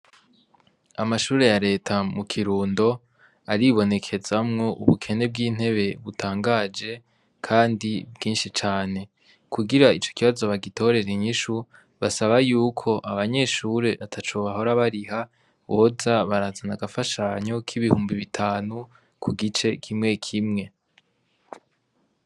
Amashure ya leta mu kirundo aribonekezamwo ubukene bw'intebe butangaje, kandi bwinshi cane kugira ico kibazo bagitorera inyinshu basaba yuko abanyeshure atacobahora bariha boza barazana agafashanyo k'ibihumbi bitanu ku gice kimwe mwek imwe.